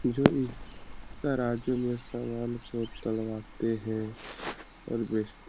जो इस तराज़ू में सामान को तुलवाते है। और बेचते --